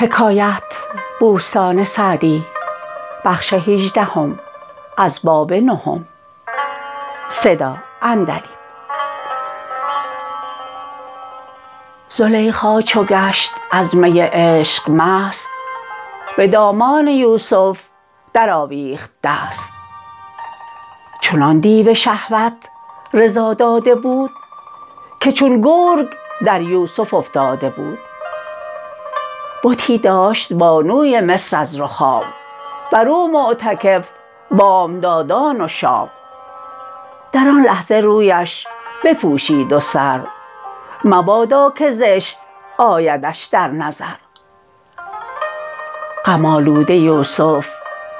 زلیخا چو گشت از می عشق مست به دامان یوسف در آویخت دست چنان دیو شهوت رضا داده بود که چون گرگ در یوسف افتاده بود بتی داشت بانوی مصر از رخام بر او معتکف بامدادان و شام در آن لحظه رویش بپوشید و سر مبادا که زشت آیدش در نظر غم آلوده یوسف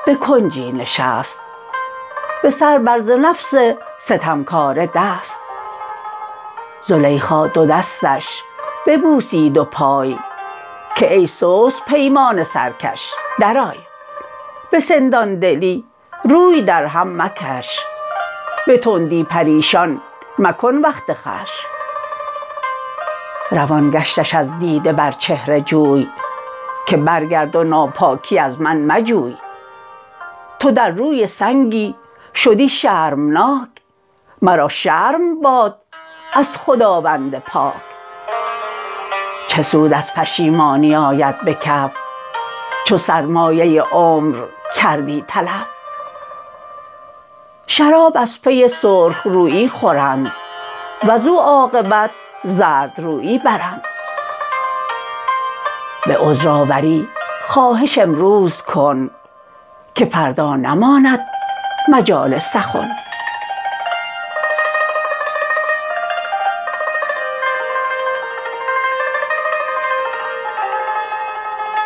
به کنجی نشست به سر بر ز نفس ستمکاره دست زلیخا دو دستش ببوسید و پای که ای سست پیمان سرکش درآی به سندان دلی روی در هم مکش به تندی پریشان مکن وقت خوش روان گشتش از دیده بر چهره جوی که برگرد و ناپاکی از من مجوی تو در روی سنگی شدی شرمناک مرا شرم باد از خداوند پاک چه سود از پشیمانی آید به کف چو سرمایه عمر کردی تلف شراب از پی سرخ رویی خورند وز او عاقبت زردرویی برند به عذرآوری خواهش امروز کن که فردا نماند مجال سخن